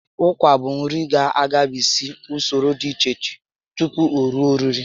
Ụkwa bụ nri ga agabigs usoro dị iche iche tupu o rue oriri